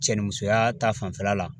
Cɛ ni musoya ta fanfɛla la